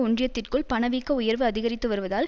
ஒன்றியத்திற்குள் பணவீக்க உயர்வு அதிகரித்து வருவதால்